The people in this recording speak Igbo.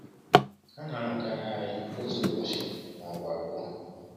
Ha na-anọkarị anyị otu ụbọchị ma ọ bụ abụọ.